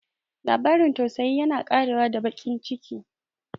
Labarin tausayi yana ƙarewa da baƙin ciki.